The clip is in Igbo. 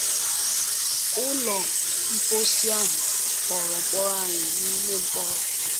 Ụlọ mposi ahụ ghọrọ mkpọrọ anyị n’ime mkpọrọ.